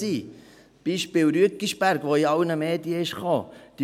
Es gibt das Beispiel Rüeggisberg, das in allen Medien gekommen ist.